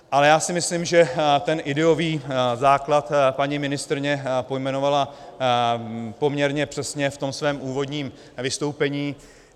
Ale já si myslím, že ten ideový základ paní ministryně pojmenovala poměrně přesně v tom svém úvodním vystoupení.